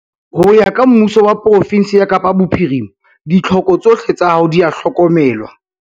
Ho ya ka Mmuso wa pro-fensi ya Kapa Bophirima, ditlhoko tsohle tsa hao di a hlokomelwa.